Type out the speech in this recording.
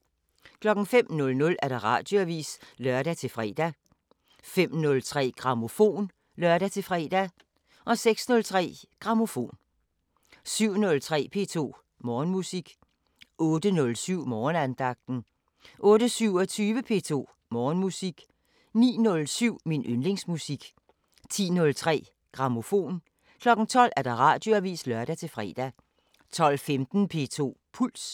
05:00: Radioavisen (lør-fre) 05:03: Grammofon (lør-fre) 06:03: Grammofon 07:03: P2 Morgenmusik 08:07: Morgenandagten 08:27: P2 Morgenmusik 09:07: Min yndlingsmusik 10:03: Grammofon 12:00: Radioavisen (lør-fre) 12:15: P2 Puls